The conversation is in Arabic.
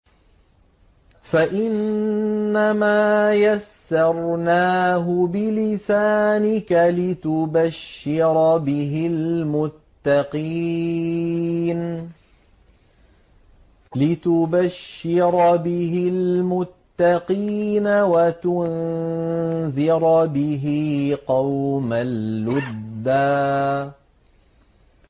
فَإِنَّمَا يَسَّرْنَاهُ بِلِسَانِكَ لِتُبَشِّرَ بِهِ الْمُتَّقِينَ وَتُنذِرَ بِهِ قَوْمًا لُّدًّا